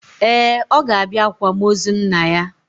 Ee, ọ ga-abịa akwamozu nna ya.